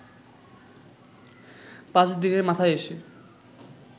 পাঁচ দিনের মাথায় এসে